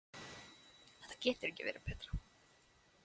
Þetta getur ekki verið betra.